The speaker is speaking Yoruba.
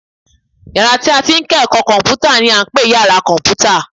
Yàrá tí a ti ń kọ́ ẹ̀kọ́ kọ̀m̀pútà ni à ń pè ní yàra kọ̀m̀pútà